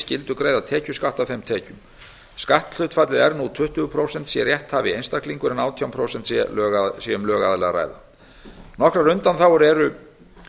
skyldu greiða tekjuskatt af þeim tekjum skatthlutfallið er nú tuttugu prósent sé rétthafi einstaklingur en átján prósent sé um lögaðila að ræða nokkrar undanþágur eru